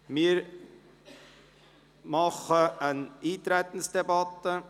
Wir führen eine Eintretensdebatte.